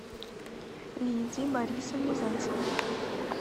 лидии борисовне зайцевой